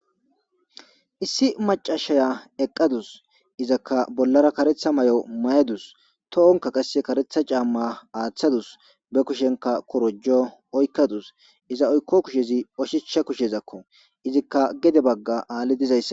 issi macashaya eqqadus izakka bollara karetha may7o mayadus to7onka qasse karetha caamma aaththadus be kushenka korojo oykkadus iza oykko kushezi oshichsha kushezakko izikka gede bagga aalli dizayssa